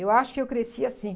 Eu acho que eu cresci assim.